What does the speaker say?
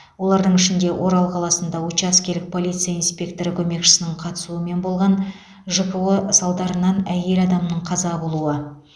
олардың ішінде орал қаласында учаскелік полиция инспекторы көмекшісінің қатысуымен болған жко салдарынан әйел адамның қаза болуы